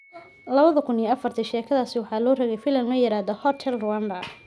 2004-tii sheekadiisa waxaa loo rogay filim la yiraahdo Hotel Rwanda.